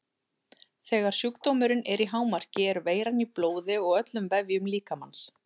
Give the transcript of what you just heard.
Þegar sjúkdómurinn er í hámarki er veiran í blóði og öllum vefjum líkamans.